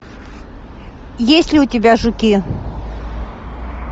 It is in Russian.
есть ли у тебя жуки